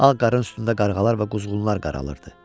Ağ qarın üstündə qarğalar və quzğunlar qaralırdı.